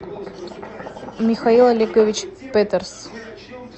михаил олегович петерс